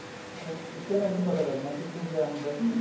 ਬੱਚਿਆਂ ਦਾ ਇਹ ਨੀਂ ਪਤਾ ਲੱਗਣਾ ਪਿਠੁ ਕਿਆ ਹੁੰਦਾ